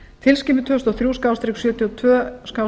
tilskipun tvö þúsund og þrjú sjötíu og tvö